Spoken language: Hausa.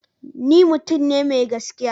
Ni mutum ne mai gaskiya.